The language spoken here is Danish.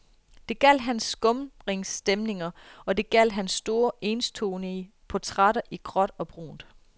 Det gjaldt hans skumringsstemninger og det gjaldt hans store, enstonige portrætter i gråt og brunt.